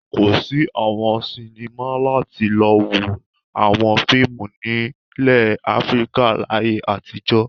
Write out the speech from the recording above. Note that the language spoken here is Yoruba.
Kò sí àwọn sinimá láti lọ wo àwọn fíìmù nílẹ̀ Áfíríkà láyé àtijọ́.